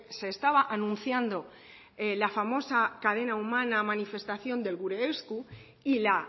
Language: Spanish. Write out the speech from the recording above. se estaba anunciando la famosa cadena humana manifestación del gure esku y la